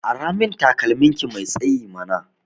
Aramin takalmin ki mai tsayi mana